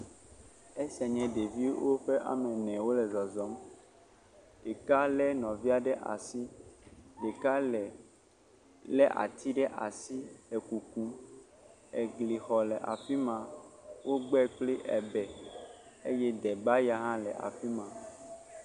Esia nye ɖevi woƒe ame ene wole zɔzɔm, ɖeka lé ati ɖe asi le kukum, eglixɔ le afi ma wogbe kpli ebe eye debaya le afi ma.